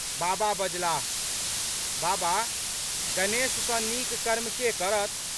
बाबा बजलाह। "बाबा, गणेश सँ नीक कर्म के करत?